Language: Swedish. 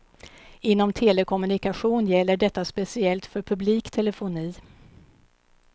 Inom telekommunikation gäller detta speciellt för publik telefoni.